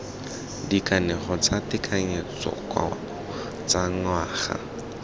dikanego tsa tekanyetsokabo tsa ngwaga